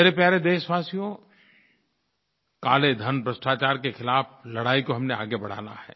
मेरे प्यारे देशवासियो काले धन भ्रष्टाचार के ख़िलाफ़ लड़ाई को हमें आगे बढ़ाना है